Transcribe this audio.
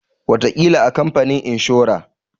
Wataƙila a kamfanin inshora.